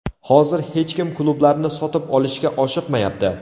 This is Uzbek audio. Hozir hech kim klublarni sotib olishga oshiqmayapti.